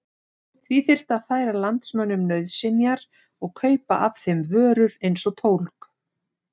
Því þyrfti að færa landsmönnum nauðsynjar og kaupa af þeim vörur eins og tólg.